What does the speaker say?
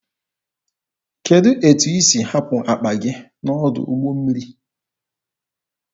Kedụ etu isi hapụ akpa gị n'ọdụ ụgbọ mmiri?